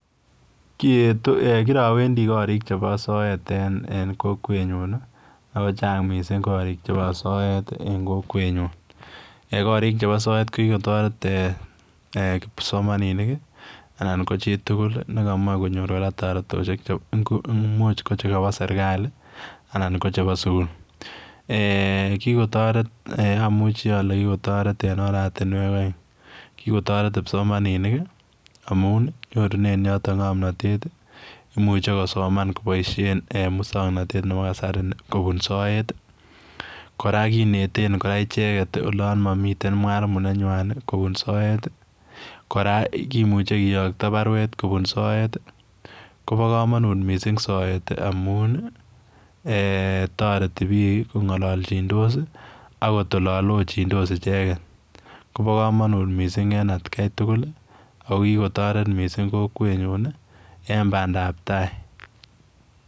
Kirawendi korik chebo soet en kokwenyu akochang' mising' korik chebo soet eng' kokwenyun korik chebo soet ko kikotoret kipsomaninik anan ko chitugul nekamach konyor kora toretoshek muuch ko chekabo serikali anan ko chebo sukul amuchi ale kikotoret en oratinwek oeng' kikotoret kipsomaninik amun nyorunen yoto ng'omnotet muchei kosoman koboishen muswong'natet nebo kasari kobun soet kora kineten kora icheget olon momiten mwalimu nenywai kobun soet kora kimuche keyokto baruet kobun soet kobo kamanut mising' soet amun toreti biik kong'ololjindos akot olo lochindos icheget kobo komonut mising' eng' atkaitugul ako kikotoret mising' kokwenyun en badaptai